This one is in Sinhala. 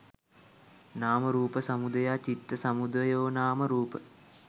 නාම රූප සමුදයා චිත්ත සමුදයෝනාම රූප